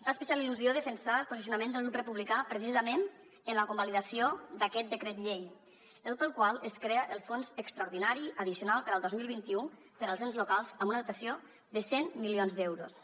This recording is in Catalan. em fa especial illusió defensar el posicionament del grup republicà precisament en la convalidació d’aquest decret llei pel qual es crea el fons extraordinari addicional per al dos mil vint u per als ens locals amb una dotació de cent milions d’euros